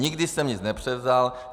Nikdy jsem nic nepřevzal.